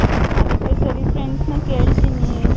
ಅದಿಕ್ಕೆ ಸರಿ friends ನ ಕೇಳ್ತೀನಿ.